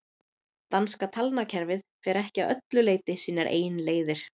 danska talnakerfið fer ekki að öllu leyti sínar eigin leiðir